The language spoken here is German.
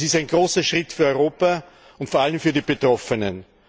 Das ist ein großer Schritt für Europa und vor allem für die Betroffenen.